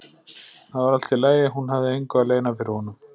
Það var allt í lagi, hún hafði engu að leyna fyrir honum.